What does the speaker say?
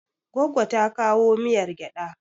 Goggo ta kowa miyar gyaɗa.